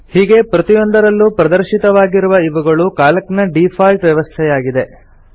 ಹೀಗೆ ಪ್ರತಿಯೊಂದರಲ್ಲೂ ಪ್ರದರ್ಶಿತವಾಗಿರುವ ಇವುಗಳು ಕ್ಯಾಲ್ಕ್ ನ ಡೀಫಾಲ್ಟ್ ವ್ಯವಸ್ಥೆಯಾಗಿದೆ